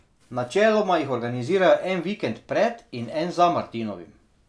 Načeloma jih organizirajo en vikend pred in en za martinovim.